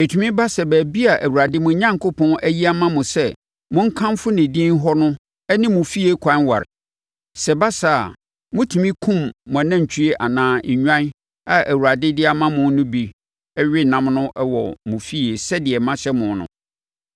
Ɛtumi ba sɛ baabi a Awurade, mo Onyankopɔn, ayi ama mo sɛ monkamfo ne din hɔ no ne mo fie kwan ware. Sɛ ɛba saa a, motumi kum mo anantwie anaa nnwan a Awurade de ama mo no bi we ɛnam no wɔ mo fie sɛdeɛ mahyɛ mo no.